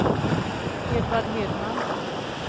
Edvard Hedman